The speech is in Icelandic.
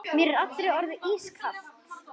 Mér er allri orðið ískalt.